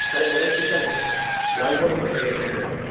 Hələ gərək keçən il yayda bu məsələyə son qoyaydıq.